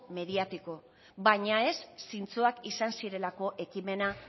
mediático baina ez zintzoak izan zirelako ekimena